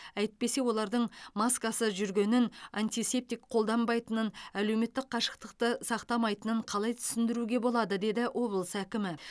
әйтпесе олардың маскасыз жүргенін антисептик қолданбайтынын әлеуметтік қашықтықты сақтамайтынын қалай түсіндіруге болады деді облыс әкімі